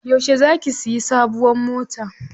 Yauce za ki siya sabuwar mota?